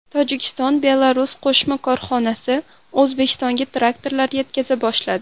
Tojikiston-Belarus qo‘shma korxonasi O‘zbekistonga traktorlar yetkaza boshladi.